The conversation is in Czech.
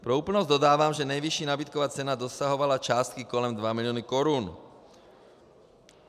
Pro úplnost dodávám, že nejvyšší nabídková cena dosahovala částky kolem 2 milionů korun.